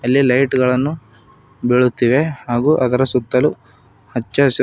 ಅಲ್ಲಿ ಲೈಟು ಗಳನ್ನು ಬಿಳುತ್ತಿವೆ ಹಾಗು ಅದರ ಸುತ್ತಲೂ ಹಚ್ಚ ಹಸಿ--